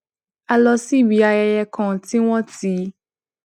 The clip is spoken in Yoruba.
a lọ síbi ayẹyẹ kan tí wón ti